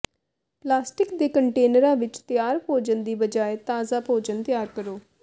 plastic ਦੇ ਕੰਟੇਨਰਾਂ ਵਿੱਚ ਤਿਆਰ ਭੋਜਨ ਦੀ ਬਜਾਏ ਤਾਜ਼ਾ ਭੋਜਨ ਤਿਆਰ ਕਰੋ